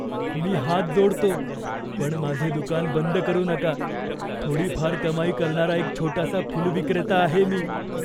मी हात जोडतो पण माझे दुकान बंद करू नका. थोडीफार कमाई करणारा एक छोटासा फुलविक्रेता आहे मी.